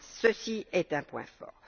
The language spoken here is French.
Cela est un point fort.